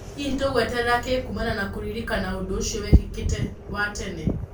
Hihi tũgweterera kĩĩ kumana na kũririkana ũndũũcio wekĩkĩte wa tene?